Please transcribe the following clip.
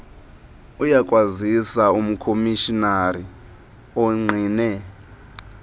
uyakwazisa umkomishinari ongqine